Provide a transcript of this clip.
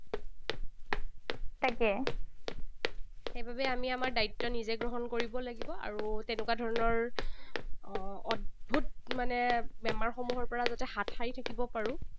তাকে। সেইবাবে আমি আমাৰ দায়িত্ব নিজে গ্ৰহণ কৰিব লাগিব। আৰু তেনেকুৱা ধৰণৰ অদ্ভুত মানে বেমাৰসমূহৰ পৰা যাতে হাত সাৰি থাকিব পাৰোঁ,